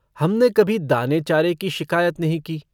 हमने कभी दानेचारे की शिकायत नहीं की।